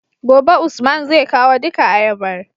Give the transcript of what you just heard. gobe usman zai kawo duka ayabar